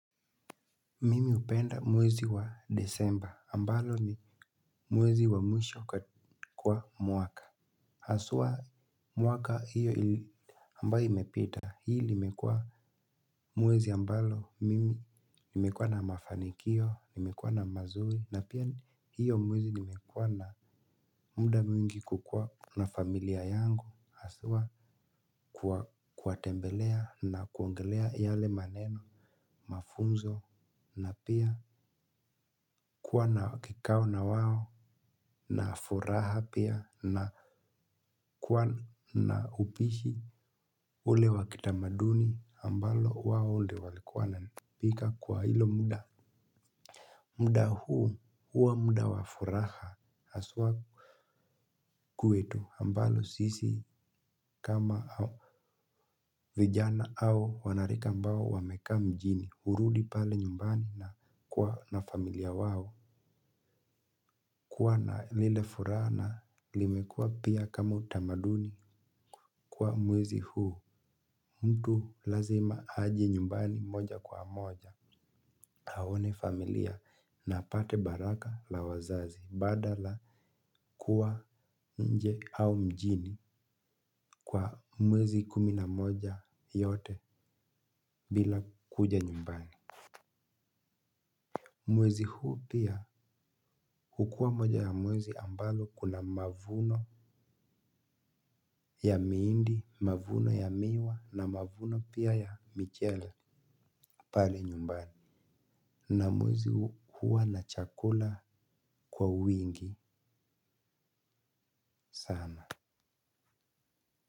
Mimi hupenda mwezi wa disemba ambalo ni mwezi wa mwisho kwa mwaka haswa mwaka hiyo ambayo imepita hii limekuwa. Mwezi ambalo mimi nimekuwa na mafanikio, nimekuwa na mazuri na pia hiyo mwezi nimekuwa na muda mwingi kukuwa na familia yangu haswa. Kuwatembelea na kuongelea yale maneno, mafunzo na pia kuwa na kikao na wao na furaha pia na kuwa na upishi ule wa kitamaduni ambalo wao ndo walikuwa wananipika kwa hilo muda. Muda huu huwa muda wa furaha haswa. Kwetu ambalo sisi kama vijana au wanarika ambao wamekaa mjini hurudi pale nyumbani na kuwa na familia wao. Kuwa na lile furaha na limekua pia kama utamaduni kwa mwezi huu mtu lazima aje nyumbani moja kwa moja aone familia na apate baraka la wazazi badala kuwa nje au mjini kwa mwezi kumi na moja yote bila kuja nyumbani. Mwezi huu pia hukua moja ya mwezi ambalo kuna mavuno ya mihindi, mavuno ya miwa na mavuno pia ya michele pale nyumbani. Na mwezi huu hua na chakula kwa uwingi sana.